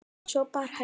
Svo bar Helgi